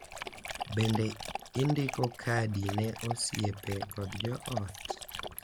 Bende, indiko kadi ne osiepe kod joot .